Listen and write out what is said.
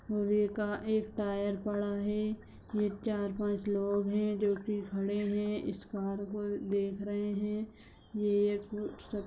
का एक टायर पड़ा है। यह चार पांच लोग हैं जो की खड़े है। इस कार को देख रहे है ये सब --